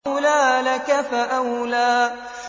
أَوْلَىٰ لَكَ فَأَوْلَىٰ